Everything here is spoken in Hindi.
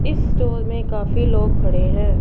इस स्टोर में काफी लोग खड़े हैं।